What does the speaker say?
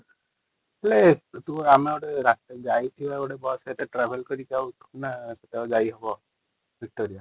ହେଲେ ଆମେ ଗୋଟେ ଯାଇଥିବା ରାତି ଗୋଟେ ବସ ରେ ଟ୍ରାଭେଲ କରିକି ଆଉ କଣ ଆଜି ହବ ଭିକ୍ଟରି |